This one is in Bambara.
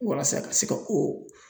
Walasa a ka se ka o